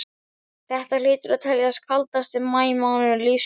Þetta hlýtur að teljast kaldasti maí mánuður lífs míns.